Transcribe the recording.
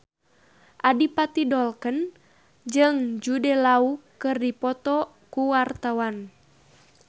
Adipati Dolken jeung Jude Law keur dipoto ku wartawan